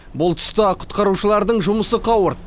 бұл тұста құтқарушылардың жұмысы қауырт